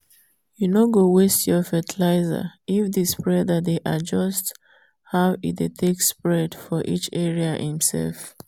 you no go waste fertilizer if the spreader dey adjust how e dey take spread for each area im self.